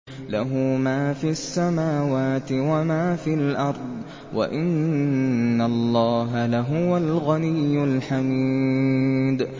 لَّهُ مَا فِي السَّمَاوَاتِ وَمَا فِي الْأَرْضِ ۗ وَإِنَّ اللَّهَ لَهُوَ الْغَنِيُّ الْحَمِيدُ